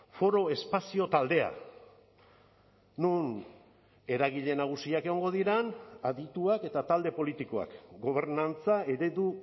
foro espazio taldea non eragile nagusiak egongo diren adituak eta talde politikoak gobernantza eredu